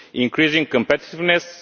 increasing competitiveness